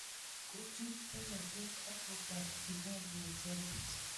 Kochut polatet akoparchikei ng'echeret